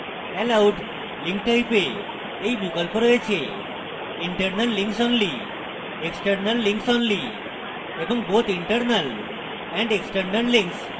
allowed link type we এই বিকল্প রয়েছেinternal links only external links only এবং both internal and external links